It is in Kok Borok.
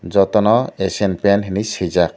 joto no asian paint hinui sujak.